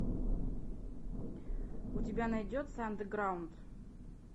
у тебя найдется андеграунд